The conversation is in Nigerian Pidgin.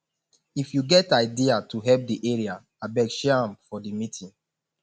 if you get idea to help the area abeg share am for the meeting